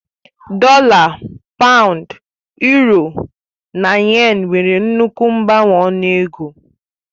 Dọla, Pàund, Yuro na Yén nwere nnukwu mgbanwe ọnụ ego